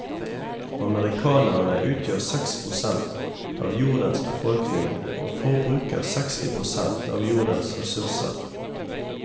Amerikanerne utgjør seks prosent av jordens befolkning og forbruker seksti prosent av jordens ressurser.